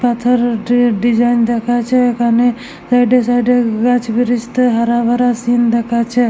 এথায় ডি ডিসাইন দেখাচ্ছেএখানে সাইড -এ সাইড -এ গাছ ব্রীজ তো হরা ভরা সিন্ দেখাচ্ছে।